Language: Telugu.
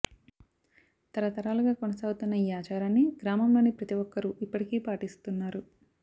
తరతరాలుగా కొనసాగుతున్న ఈ ఆచారాన్ని గ్రామంలోని ప్రతి ఒక్కరూ ఇప్పటికీ పాటిస్తున్నారు